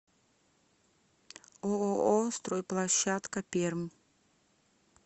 ооо стройплощадка пермь